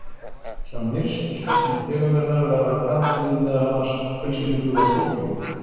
Hjá nyrstu stofnum tegundarinnar verða karldýrin meðal annars appelsínugul á fótleggjum.